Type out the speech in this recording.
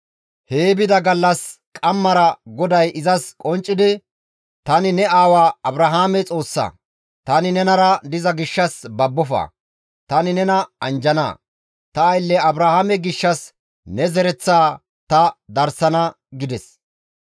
Hee bida gallas qammara GODAY izas qonccidi, «Tani ne aawa Abrahaame Xoossa; tani nenara diza gishshas babbofa! Tani nena anjjana; ta aylle Abrahaame gishshas ne zereththaa ta darsana» gides.